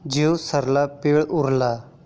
जीव सरला पीळ उरला